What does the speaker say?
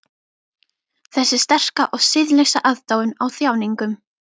Þessi sterka og siðlausa aðdáun á þjáningum.